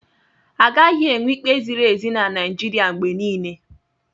Agaghị enwe ikpe ziri ezi na Naịjirịa mgbe niile.